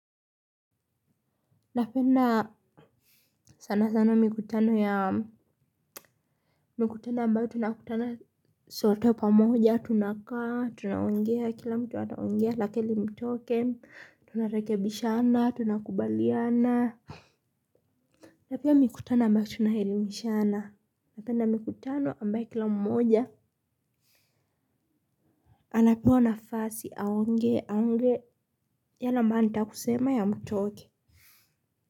Napenda sana sana mikutano ya mikutano ambayo tunakutana sote pamoja tunakaa tunaongea kila mtu ataongea lakili mtoke tunarekebishana tunakubaliana. Napia mikutano ambayo tunaelimishana napenda mikutano ambayo kila mmoja anapewa nafasi aonge aonge yale ambayo anataka kusema yamtoke.